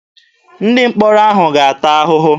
Ndị mkpọrọ ahụ ga-ata ahụhụ.